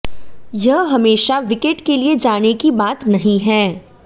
यह हमेशा विकेट के लिए जाने की बात नहीं है